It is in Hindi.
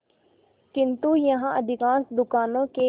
किंतु यहाँ अधिकांश दुकानों के